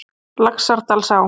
Laxárdal